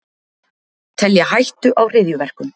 Telja hættu á hryðjuverkum